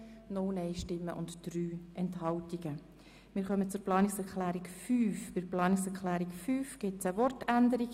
Bei der Planungserklärung 5 gibt es eine Wortänderung.